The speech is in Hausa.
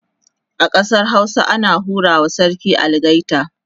a ƙasar Hausa ana hura wa sarki algaita